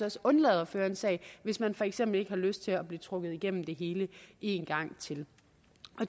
også undlade at føre en sag hvis man for eksempel ikke har lyst til at blive trukket igennem det hele en gang til